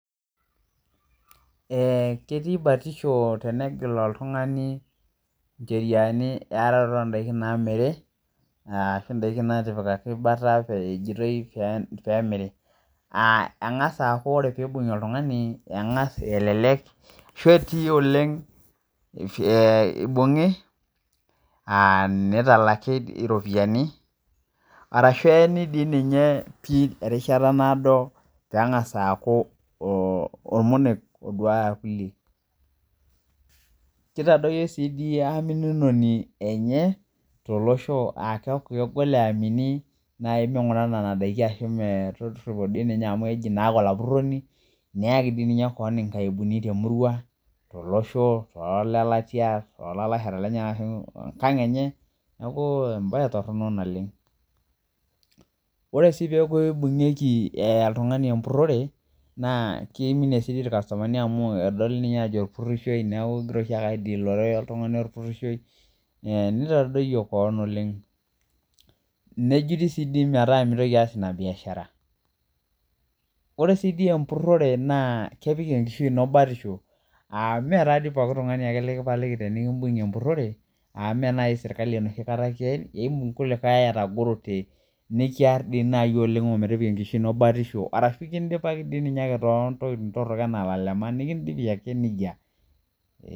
Eeh ketii batisho tenegil oltung'ani incheriani eyaroroto ondaiki namiri uh ashu indaiki natipikaki bata pee ejitoii peemiri uh eng'as aaku ore piibung'i oltung'ani eng'as elelek ashu etii oleng eh eibung'i uh nitalaki iropiani arashu eyeni dii ninye pii erishata naado peeng'as aaku oh ormonek oduaya irkulie kitadoyio sii dii aminunoni enye tolosho uh keeku kegol eyaminii naai ming'ura nana daiki ashu metorripo dii ninye amu eji naake olapurroni neyaki dii ninye koon inkaibuni temurua tolosho toolelatia tolalashara lenyanak ashu enkang enye niaku embaye torrono naleng ore sii peeku eibung'ieki eh oltung'ani empurrore naa keiminie sii dii irkastomani amu edoli ninye aajo orpurrishoi neeku igira oshiake aidilore oltung'ani orpurrishoi eh nitadoyio koon oleng nejuti sii dii metaa mitoki aas ina biashara ore sii dii empurrore naa kepik enkishu ino batisho uh imee tadii poki tung'ani akle likipaliki tenikimbung'ie empurrore amu mee naai sirkali enoshi kata kiyen imbung kulikae atagorote nekiarr dii naai oleng ometipika enkishui ino batisho arashu kindipaki dii ninye ake tontokiting torrok enaa ilalema nikindipi ake nejia.